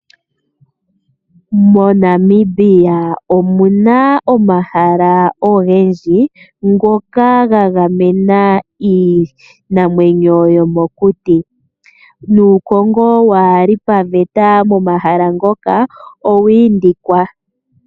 MoNamibia omu na omahala ogendji ngoka ga gamena iinamwenyo yomokuti, nuukongo waa li paveta momahala ngoka owa indikwa.